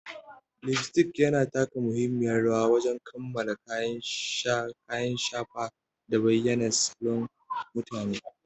Lipstick yana taka muhimmiyar rawa wajen kammala kyan kayan shafa da bayyana salon mutum.